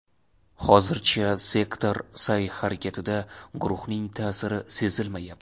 Hozircha sektor sa’y-harakatida guruhning ta’siri sezilmayapti.